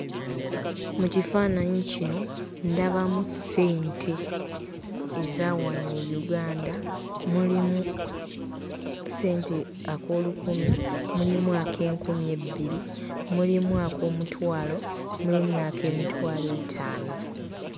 Mu kifaananyi kino ndabamu ssente eza wano e Uganda. Mulimu ssente ak'olukumi, mulimu ak'enkumi ebbiri, mulimu ak'omutwalo, mulimu n'ak'emitwalo etaano.